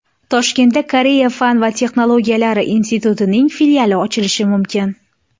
Toshkentda Koreya fan va texnologiyalar institutining filiali ochilishi mumkin .